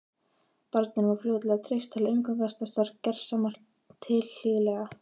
Barninu var fljótlega treyst til að umgangast þessar gersemar tilhlýðilega.